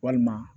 Walima